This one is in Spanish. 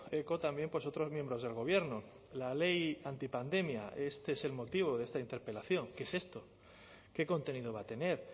eco también pues otros miembros del gobierno la ley antipandemia este es el motivo de esta interpelación qué es esto qué contenido va a tener